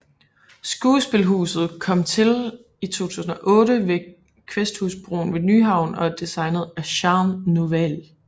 Skuespilhuset kom til i 2008 ved Kvæsthusbroen ved Nyhavn og er designet af Jean Nouvel